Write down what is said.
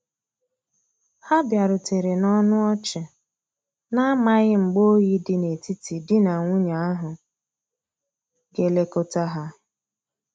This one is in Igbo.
Ha biarutere na ọnụ ọchi, na amaghi mgba oyi di na etiti di na nwunye ahu ga elekota ha.